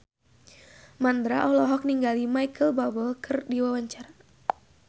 Mandra olohok ningali Micheal Bubble keur diwawancara